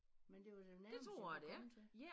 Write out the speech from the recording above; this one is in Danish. Men det var det nærmeste det kunne komme til